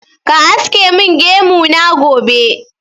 Ka aske min gemu na gobe!